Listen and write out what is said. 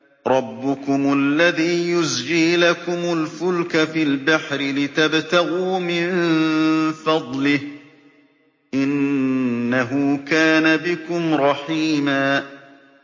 رَّبُّكُمُ الَّذِي يُزْجِي لَكُمُ الْفُلْكَ فِي الْبَحْرِ لِتَبْتَغُوا مِن فَضْلِهِ ۚ إِنَّهُ كَانَ بِكُمْ رَحِيمًا